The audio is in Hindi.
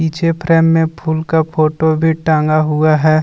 पीछे फ्रेम में फूल का फोटो भी टांगा हुआ है।